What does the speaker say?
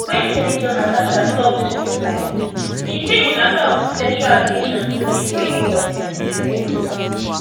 wen senator natasha tok to reply she say di matter of sexual allegations no dey for any court in nigeria